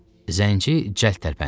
Zənci cəld tərpəndi.